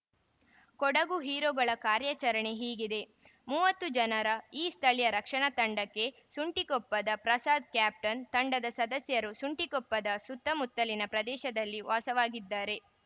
ಕೊಡಗು ಹೀರೋಗಳ ಕಾರ್ಯಾಚರಣೆ ಹೀಗಿದೆ ಮೂವತ್ತು ಜನರ ಈ ಸ್ಥಳೀಯರ ರಕ್ಷಣಾ ತಂಡಕ್ಕೆ ಸುಂಟಿಕೊಪ್ಪದ ಪ್ರಸಾದ್‌ ಕ್ಯಾಪ್ಟನ್‌ ತಂಡದ ಸದಸ್ಯರು ಸುಂಟಿಕೊಪ್ಪದ ಸುತ್ತಮುತ್ತಲಿನ ಪ್ರದೇಶದಲ್ಲಿ ವಾಸವಾಗಿದ್ದಾರೆ